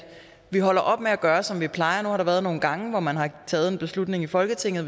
vi holder op med at gøre som vi plejer nu har der været nogle gange hvor man har taget en beslutning i folketinget